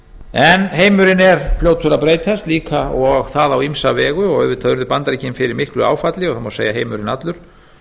en heimurinn er fljótur að breytast líka og það á ýmsa vegu og auðvitað urðu bandaríkin fyrir miklu áfalli og það má segja heimurinn allur